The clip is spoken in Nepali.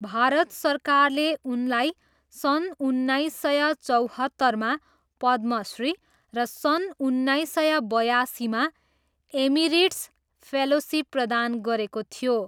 भारत सरकारले उनलाई सन् उन्नाइस सय चौहत्तरमा पद्मश्री र सन् उन्नाइस सय बयासीमा एमेरिटस् फेलोसिप प्रदान गरेको थियो।